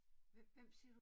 Hvem hvem siger du?